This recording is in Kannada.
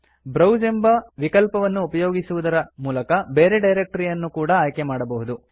ಬ್ರೌಸ್ ಎಂಬ ವಿಕಲ್ಪವನ್ನು ಉಪಯೋಗಿಸುವುದರಿಂದ ಬೇರೆ ಡರಕ್ಟರಿಯನ್ನು ಕೂಡಾ ಅಯ್ಕೆಮಾಡಬಹುದು